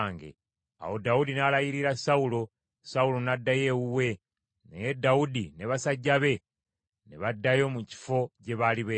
Awo Dawudi n’alayirira Sawulo. Sawulo n’addayo ewuwe, naye Dawudi ne basajja be ne baddayo mu kifo gye baali beekwese.